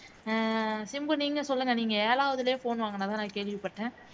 சிம்பு நீங்க சொல்லுங்க நீங்க ஏழாவதிலேயே phone வாங்கினதா கேள்விப்பட்டேன்